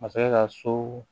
Masakɛ ka so